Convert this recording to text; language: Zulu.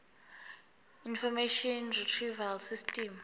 information retrieval system